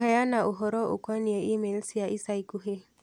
kũheana ũhoro ũkonĩĩ e-mai cia ica ikuhi